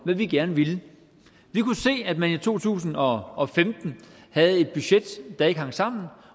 hvad vi gerne ville vi kunne se at man i to tusind og femten havde et budget der ikke hang sammen